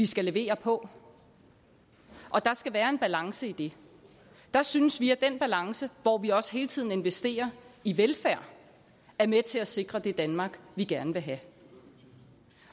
skal leveres på og der skal være en balance i det der synes vi at den balance hvor vi også hele tiden investerer i velfærd er med til at sikre det danmark vi gerne vil have